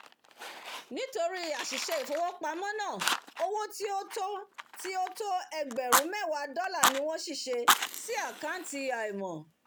nítorí àsìse ìfowópámó ná owó tí ó tó tí ó tó ẹgbèrún méwàá dólà ni wón ṣìse sí àkàntì àìmò